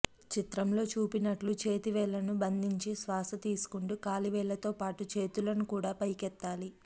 చిత్రంలో చూపినట్లు చేతివేళ్లను బంధించి శ్వాస తీసుకుంటూ కాలివేళ్లతోపాటు చేతులను కూడా పెకెత్తాలి